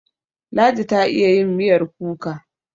Ladi ta iya yin miyar kuka.